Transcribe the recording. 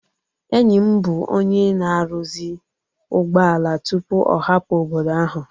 Enyi m bụ onye na-arụzi ụgbọala tupu ọ hapụ obodo ahụ